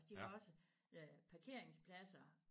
De har også parkeringspladser